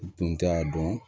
U tun t'a dɔn